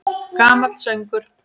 Gamall söngur!